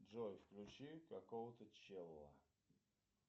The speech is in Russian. джой включи какого то чела